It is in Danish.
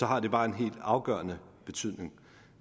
har det bare en helt afgørende betydning